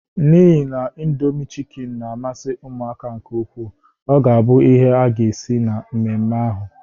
N'ihi na Indomi chịkin na-amasị ụmụaka nke ukwuu, ọ ga-abu ihe a ga-esi na mmemme ahụ.